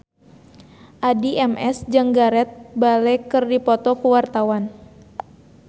Addie MS jeung Gareth Bale keur dipoto ku wartawan